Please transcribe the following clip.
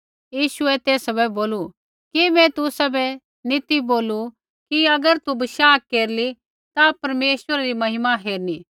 यीशुऐ तेसा बै बोलू कि मैं तुसाबै नी ती बोलू कि अगर तू बशाह केरली ता परमेश्वरै री महिमा हेरणी